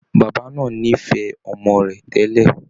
Bàbá náà nífẹ̀ẹ́ ọmọ rẹ̀ tẹ́lẹ̀